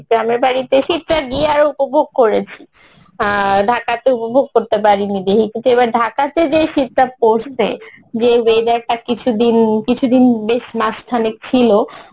গ্রামের বাড়িতে গিয়ে আরো উপভোগ করেছি আহ ঢাকাতে উপভোগ করতে পারিনি কিন্তু এবার ঢাকাতে যেই শীতটা পরসে, যে weather টা কিছুদিন, কিছুদিন বেশ মাস খানেক ছিলো